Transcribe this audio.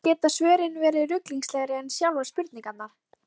Og eins geta svörin verið ruglingslegri en sjálfar spurningarnar.